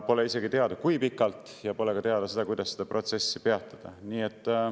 Pole isegi teada, kui pikalt, ja pole ka teada, kuidas seda protsessi peatada.